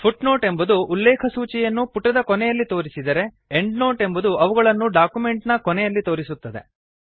foot note ಎಂಬುದು ಉಲ್ಲೇಖಸೂಚಿಯನ್ನು ಪುಟದ ಕೊನೆಯಲ್ಲಿ ತೋರಿಸಿದರೆ ಎಂಡ್ ನೋಟ್ ಎಂಬುದು ಅವುಗಳನ್ನು ಡಾಕ್ಯುಮೆಂಟ್ ನ ಕೊನೆಯಲ್ಲಿ ತೋರಿಸುತ್ತದೆ